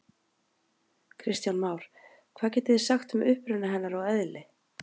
Kristján Már: Hvað getið þið sagt um uppruna hennar og eðli?